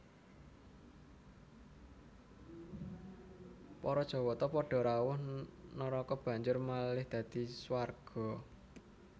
Para Jawata padha rawuh naraka banjur malih dadi swarga